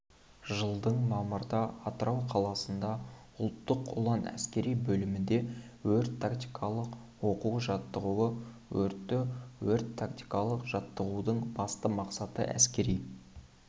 жылдың мамырда атырау қаласында ұлттық ұлан әскери бөлімінде өрт-тактикалық оқу-жаттығуы өтті өрт-тактикалық жаттығудың басты мақсаты әскери